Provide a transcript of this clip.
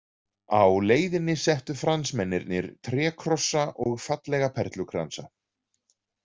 Á leiðin settu Fransmennirnir trékrossa og fallega perlukransa.